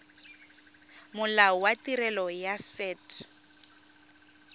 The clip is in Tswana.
molao wa tirelo ya set